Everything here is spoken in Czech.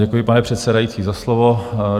Děkuji, pane předsedající, za slovo.